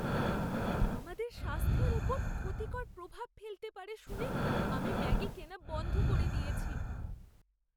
আমাদের স্বাস্থ্যের ওপর ক্ষতিকর প্রভাব ফেলতে পারে শুনে আমি ম্যাগি কেনা বন্ধ করে দিয়েছি।